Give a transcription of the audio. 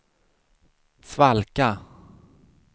svalka